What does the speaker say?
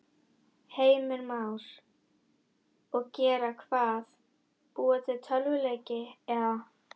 Heimir Már: Og gera hvað, búa til tölvuleiki eða?